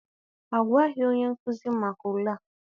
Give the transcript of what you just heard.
A gwaghị onye nkuzi maka ule a.